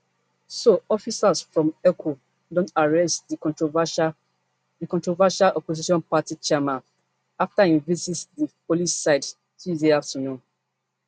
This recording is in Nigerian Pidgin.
so officers from eoco don arrest di controversial di controversial opposition party chairman afta im visit di police cid tuesday afternoon